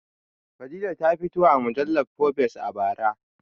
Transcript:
Fadila ta fito a mujallar fobes a bara